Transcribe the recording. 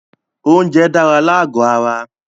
Oúnjẹ dára lágò ara.